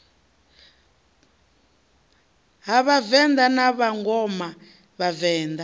ha vhavenḓa na vhangona vhavenḓa